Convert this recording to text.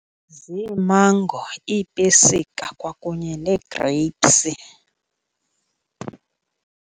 Ziimango, iipesika kwakunye nee-grapes.